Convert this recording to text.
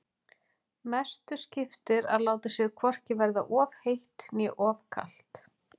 Mestu skiptir að láta sér hvorki verða of heitt né of kalt.